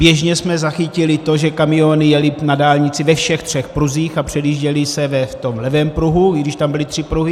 Běžně jsme zachytili to, že kamiony jely na dálnici ve všech třech pruzích a předjížděly se v tom levém pruhu, i když tam byly tři pruhy.